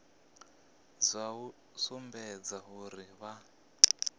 dza u sumbedza uri vha